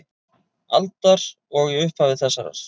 aldar og í upphafi þessarar.